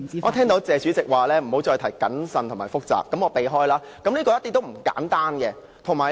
我聽到"謝主席"說不要再提"謹慎"和"複雜"，那麼我盡量避免。